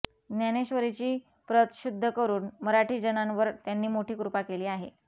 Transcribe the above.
ज्ञानेश्वरीची प्रत शुद्ध करून मराठीजनांवर त्यांनी मोठी कृपा केली आहे